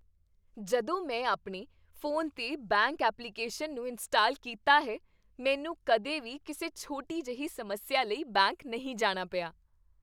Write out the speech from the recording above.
ਜਦੋਂ ਤੋਂ ਮੈਂ ਆਪਣੇ ਫੋਨ 'ਤੇ ਬੈਂਕ ਐਪਲੀਕੇਸ਼ਨ ਨੂੰ ਇੰਸਟਾਲ ਕੀਤਾ ਹੈ, ਮੈਨੂੰ ਕਦੇ ਵੀ ਕਿਸੇ ਛੋਟੀ ਜਿਹੀ ਸਮੱਸਿਆ ਲਈ ਬੈਂਕ ਨਹੀਂ ਜਾਣਾ ਪਿਆ।